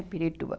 Pirituba.